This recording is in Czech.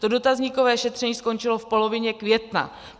To dotazníkové šetření skončilo v polovině května.